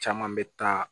Caman bɛ taa